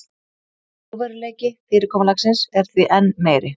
Trúverðugleiki fyrirkomulagsins er því enn meiri